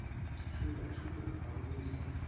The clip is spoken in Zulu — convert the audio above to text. thula thula akuthi